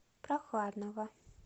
прохладного